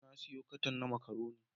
Na sayo katan na makaroni.